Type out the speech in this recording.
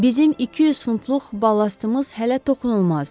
Bizim 200 funtluq balastımız hələ toxunulmazdı.